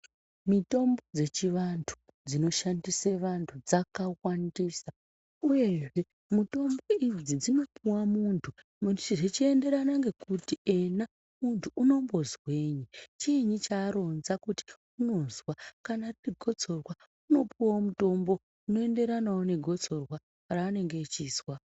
Mitombo dzechivantu dzinoshandise vantu dzakawandisa uyezve mitombo idzi dzinopuwa muntu zvichienderana ngekuti ena muntu unombozwei, chiini chaaronza kuti unonzwa. Kana riri gotsorwa unopuwawo mutombo unoenderana negotsorwa raanenge echizwa.